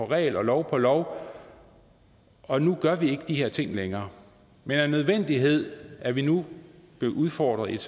regel og lov på lov og nu gør vi ikke de her ting længere men af nødvendighed er vi nu blevet udfordret i et